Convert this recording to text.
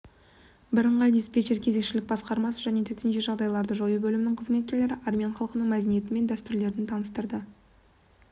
бірыңғай диспечер кезекшілік басқармасы және төтенше жағдайларды жою бөлімінің қызметкерлері армян халқының мәдениеті мен дәстүрлерін таныстырды